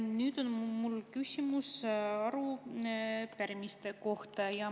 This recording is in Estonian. Nüüd on mul küsimus arupärimiste kohta.